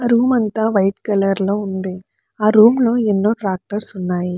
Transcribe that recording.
Room అంతా white colour లొ ఉంది. ఆ రూమ్ లో ఎన్నో ట్రాక్టర్స్ ఉన్నాయి.